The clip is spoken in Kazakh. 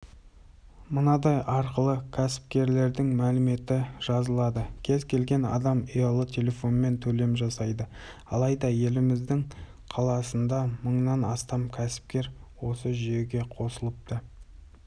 мынадай арқылы кәсіпкердің мәліметі жазылады кез келген адам ұялы телефонмен төлем жасайды айда еліміздің қаласында мыңнан астам кәсіпкер осы жүйеге қосылыпты